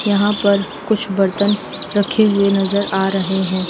यहां पर कुछ बर्तन रखे हुए नजर आ रहे हैं।